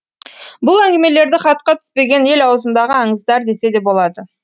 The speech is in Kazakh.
бұл әңгімелерді хатқа түспеген ел аузындағы аңыздар десе де болады